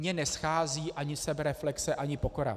Mně neschází ani sebereflexe ani pokora.